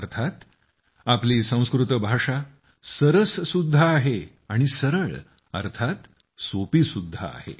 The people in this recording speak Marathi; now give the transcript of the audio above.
अर्थात आपली संस्कृत भाषा सरस सुद्धा आहे आणि सरळ अर्थात सोपी सुद्धा आहे